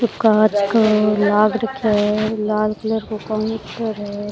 वो कांच का लाग रख्या है लाल कलर को काउंटर है।